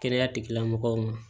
Kɛnɛya tigilamɔgɔw ma